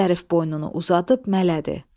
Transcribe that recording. Zərif boynunu uzadıb mələdi.